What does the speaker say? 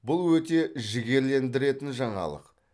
бұл өте жігерлендіретін жаңалық